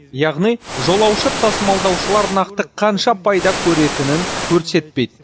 яғни жолаушы тасымалдаушылар нақты қанша пайда көретінін көрсетпейді